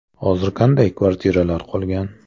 Hozir qanday kvartiralar qolgan?